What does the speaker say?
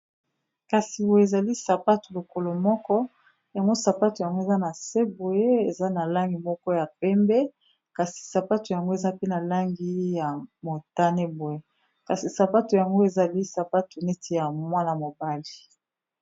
Kasi boye ezali sapato lokolo moko yango sapato yango eza na se boye eza na langi moko ya pembe, kasi sapato yango eza pe na langi ya motane-boye kasi sapato yango ezali sapato neti ya mwana mobali.